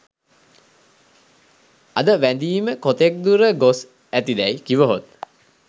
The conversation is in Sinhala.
අද වැඳීම කොතෙක් දුර ගොස් ඇති දැයි කිවහොත්